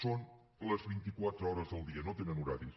són les vint i quatre hores del dia no tenen horaris